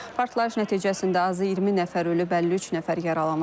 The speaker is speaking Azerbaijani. Partlayış nəticəsində azı 20 nəfər ölüb, 53 nəfər yaralanıb.